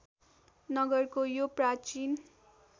नगरको यो प्राचीन